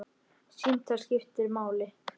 Símtal sem skiptir máli